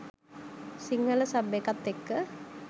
Sinhala sub එකත් එක්ක